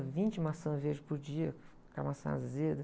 Comia vinte maçãs verdes por dia, aquela maçã azeda.